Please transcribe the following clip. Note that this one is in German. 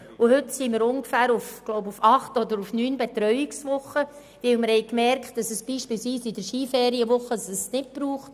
Heute sind wir auf ungefähr acht oder neun Betreuungswochen, weil wir feststellten, dass es das Angebot zum Beispiel während der Skiferienwoche nicht braucht.